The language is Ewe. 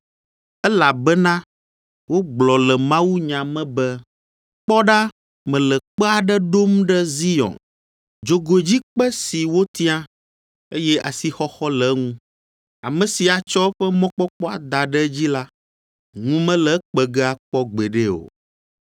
Elabena wogblɔ le mawunya me be, “Kpɔ ɖa mele kpe aɖe ɖom ɖe Zion, dzogoedzikpe si wotia, eye asixɔxɔ le eŋu, ame si atsɔ eƒe mɔkpɔkpɔ ada ɖe edzi la, ŋu mele ekpe ge akpɔ gbeɖe o.”